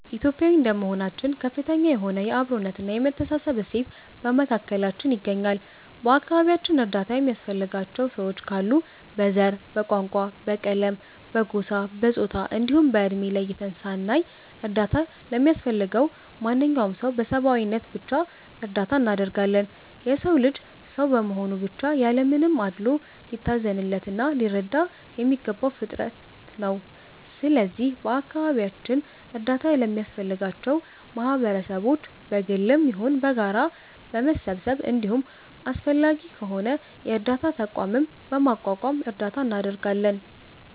ኢትዮጲያዊ እንደመሆናችን ከፍተኛ የሆነ የ አብሮነት እና የመተሳሰብ እሴት በመካከላችን ይገኛል። በ አከባቢያችን እርዳታ የሚያስፈልጋቸው ሰዎች ካሉ በ ዘር፣ በቋንቋ፣ በቀለም፣ በጎሳ፣ በፆታ እንዲሁም በ እድሜ ለይተን ሳናይ እርዳታ ለሚያስፈልገው ማንኛውም ሰው በ ሰብዓዊነት ብቻ እርዳታ እናደርጋለን። የ ሰው ልጅ ሰው በመሆኑ ብቻ ያለ ምንም አድሎ ሊታዘንለት እና ሊረዳ የሚገባው ፍጠር ነው። ስለዚህ በ አካባቢያችን እርዳታ ለሚያስፈልጋቸው ማህበረሰቦች በ ግልም ይሁን በጋራ በመሰባሰብ እንዲሁም አስፈላጊ ከሆነ የ እርዳታ ተቋምም በማቋቋም እርዳታ እናደርጋለን።